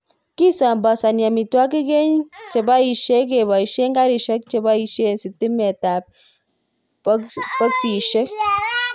Kisambasani amitwokik eng chepoisyei kepoishei garishek chepoishei sitimet ab boksisjek